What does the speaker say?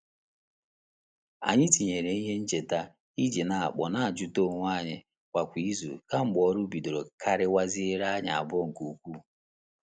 Anyị etinyela ihe ncheta i ji n'akpọ n'ajuta onwe anyi kwa kwa izu kemgbe ọrụ bidoro kariwaziere anyi abụọ nke ukwuu.